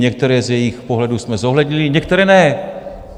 Některé z jejich pohledů jsme zohlednili, některé ne.